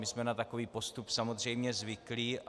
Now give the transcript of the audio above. My jsme na takový postup samozřejmě zvyklí.